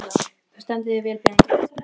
Þú stendur þig vel, Benedikt!